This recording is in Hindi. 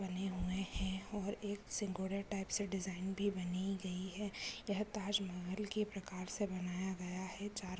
बने हुए हैं और एक सिंह घोड़े टाइप डिजाइन बनाई गई है और यह ताजमहल की प्रकार से बनाया गया है चार--